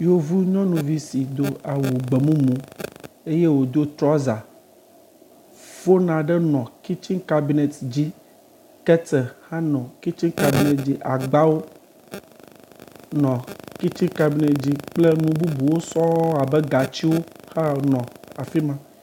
Yevunyɔnuvi si do awu gbemumu eye wòdo trɔza foni aɖe nɔ kitsini kabinɛti dzi, keteli hã nɔ kitsini kabinɛti dzi, agbawo nɔ kitsini kabinɛti dzi kple nu bubuwo sɔŋ abe gatsiwo hã nɔ afi ma.